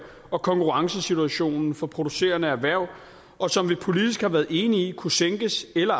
og konkurrencesituationen for producerende erhverv og som vi politisk har været enige i kunne sænkes eller